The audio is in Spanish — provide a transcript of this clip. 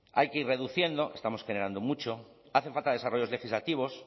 hay que ir reduciendo estamos generando mucho hacen falta desarrollos legislativos